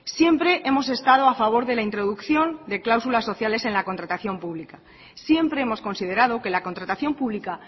siempre hemos estado a favor de la introducción de cláusulas sociales en la contratación pública siempre hemos considerado que la contratación pública